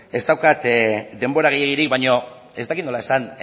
ez daukat denbora gehiegirik baino ez dakit nola esan